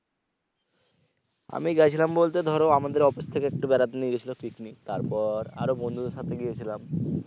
আমি গেছিলাম বলতে ধরো আমাদের office থেকে একটু বেড়াতে নিয়ে গেছিলো পিকনিক তারপর আরো বন্ধুদের সাথে গিয়েছিলাম।